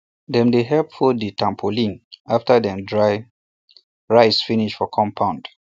dem dey help fold di tarpaulin after dem dry rice finish for compound